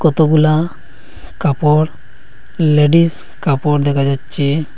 কতগুলা কাপড় লেডিস কাপড় দেকা যাচ্ছে।